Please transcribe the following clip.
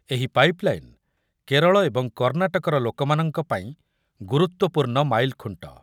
ଏହି ପାଇପ୍‌ଲାଇନ୍‌ କେରଳ ଏବଂ କର୍ଣ୍ଣାଟକର ଲୋକମାନଙ୍କ ପାଇଁ ଗୁରୁତ୍ବପୂର୍ଣ୍ଣ ମାଇଲ୍‌ଖୁଣ୍ଟ ।